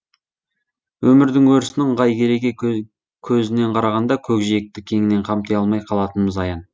өмірдің өрісін ыңғай кереге көзінен қарағанда көкжиекті кеңінен қамти алмай қалатынымыз аян